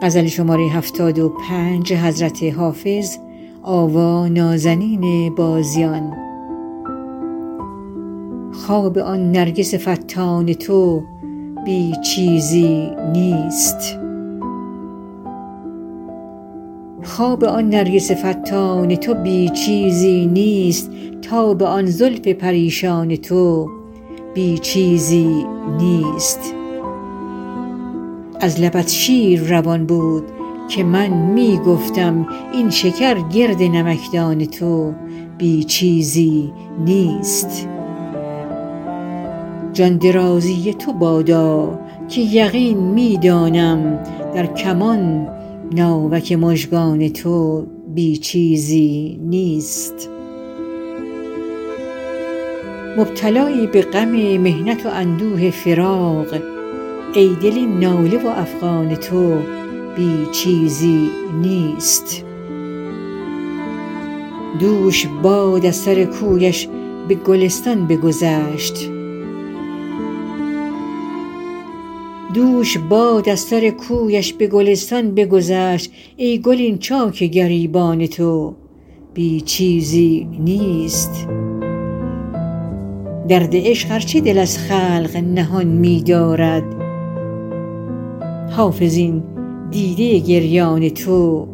خواب آن نرگس فتان تو بی چیزی نیست تاب آن زلف پریشان تو بی چیزی نیست از لبت شیر روان بود که من می گفتم این شکر گرد نمکدان تو بی چیزی نیست جان درازی تو بادا که یقین می دانم در کمان ناوک مژگان تو بی چیزی نیست مبتلایی به غم محنت و اندوه فراق ای دل این ناله و افغان تو بی چیزی نیست دوش باد از سر کویش به گلستان بگذشت ای گل این چاک گریبان تو بی چیزی نیست درد عشق ار چه دل از خلق نهان می دارد حافظ این دیده گریان تو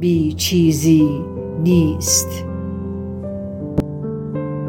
بی چیزی نیست